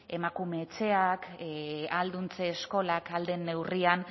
emakume etxeak ahalduntze eskolak ahal den neurrian